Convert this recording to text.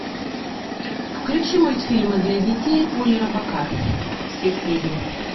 включи мультфильмы для детей поли робокар все серии